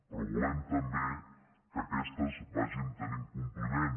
però volem també que aquestes vagin tenint compliment